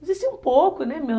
Existia um pouco, né?